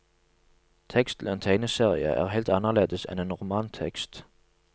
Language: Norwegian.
Tekst til en tegneserie er helt annerledes enn en romantekst.